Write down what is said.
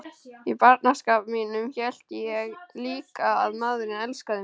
Í barnaskap mínum hélt ég líka að maðurinn elskaði mig.